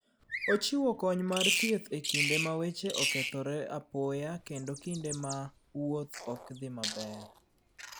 Ochiwo kony mar thieth e kinde ma weche okethore apoya kendo e kinde ma wuoth ok dhi maber.